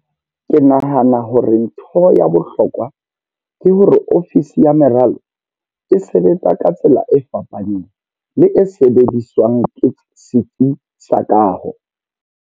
Ke nahana hore ntho ya bohlokwa ke hore ofisi ya meralo e sebetsa ka tsela e fapaneng le e sebediswang ke setsi sa kaho.